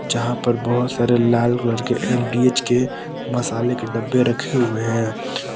जहां पर बहोत सारे लाल कलर के एम_डी_एच के मसाले के डब्बे रखे हुए हैं।